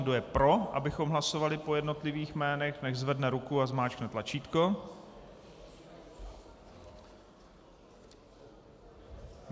Kdo je pro, abychom hlasovali po jednotlivých jménech, nechť zvedne ruku a zmáčkne tlačítko.